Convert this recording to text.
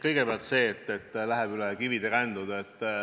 Kõigepealt sellest, et läheb üle kivide ja kändude.